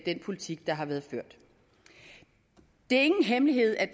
den politik der har været ført det er ingen hemmelighed at